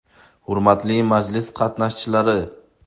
Hurmatli majlis qatnashchilari!